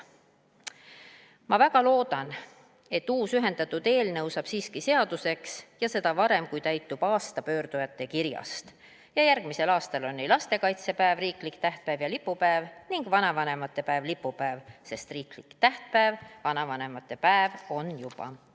Ma väga loodan, et uus, ühendatud eelnõu saab siiski seaduseks ja seda varem, kui täitub aasta pöördujate kirjast, ja järgmisel aastal on lastekaitsepäev riiklik tähtpäev ja lipupäev ning vanavanemate päev lipupäev, sest riiklik tähtpäev vanavanemate päev juba on.